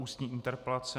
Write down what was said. Ústní interpelace